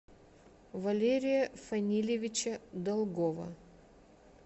валерия фанилевича долгова